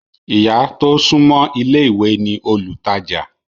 Ìyá tó súńmọ́ ilé ìwé ní olùtajà